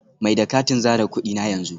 Mai da katin zare kudi na yanzu